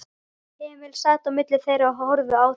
Emil sat á milli þeirra og horfði á þau.